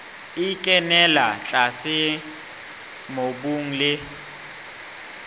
e kenella tlase mobung le